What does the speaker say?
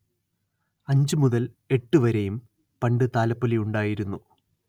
അഞ്ച് മുതൽ എട്ട് വരെയും പണ്ട് താലപ്പൊലി ഉണ്ടായിരുന്നു